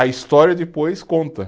A história depois conta.